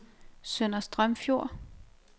Sønder Strømfjord